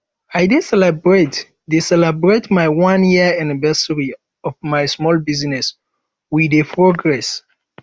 i dey celebrate dey celebrate my one year anniversary of my small business we dey progress